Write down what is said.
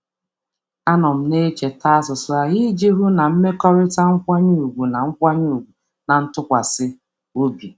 Ịnọgide na-enwe uche banyere na-enwe uche banyere mmegharị ahụ na-eme ka mmekọrịta nkwanye ùgwù na nke ntụkwasị obi dị.